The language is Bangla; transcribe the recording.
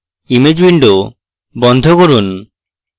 image window বন্ধ করুন